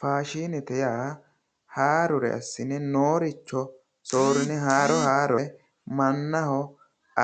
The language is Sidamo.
Faashinete yaa haarore assine nooricho soorine haarore mannaho